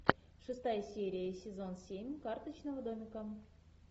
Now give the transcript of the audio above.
шестая серия сезон семь карточного домика